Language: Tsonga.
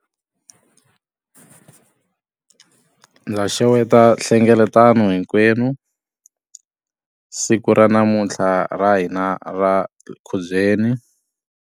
Ndza xeweta nhlengeletano hinkwenu siku ra namuntlha ra hina ra khubyeni.